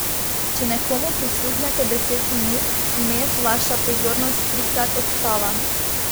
Če nekomu prisluhnete deset minut, vmes vaša pozornost trikrat odtava.